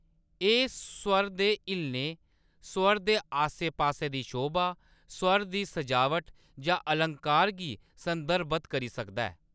एह्‌‌ स्वर दे हिल्लने, स्वर दे आसे-पासे दी शोभा, स्वर दी सजावट जां अलंकार गी संदर्भत करी सकदा ऐ।